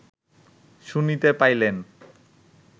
শুনিতে পাইলেন